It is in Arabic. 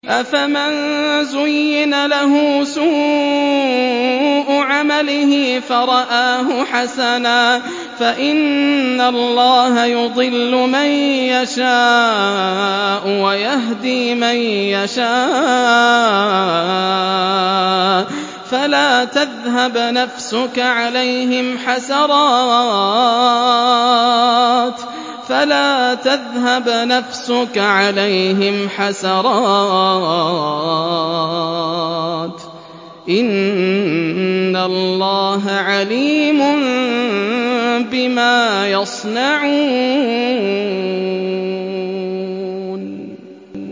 أَفَمَن زُيِّنَ لَهُ سُوءُ عَمَلِهِ فَرَآهُ حَسَنًا ۖ فَإِنَّ اللَّهَ يُضِلُّ مَن يَشَاءُ وَيَهْدِي مَن يَشَاءُ ۖ فَلَا تَذْهَبْ نَفْسُكَ عَلَيْهِمْ حَسَرَاتٍ ۚ إِنَّ اللَّهَ عَلِيمٌ بِمَا يَصْنَعُونَ